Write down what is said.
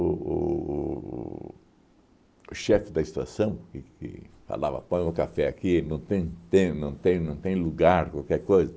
o o o o chefe da estação, que que falava, põe o café aqui, não tem tem, não tem não tem lugar, qualquer coisa.